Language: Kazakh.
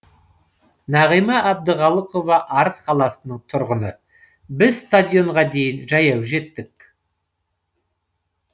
нағима әбдіхалықова арыс қаласының тұрғыны біз стадионға дейін жаяу жеттік